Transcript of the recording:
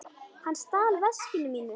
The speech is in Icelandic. Hann stal veskinu mínu.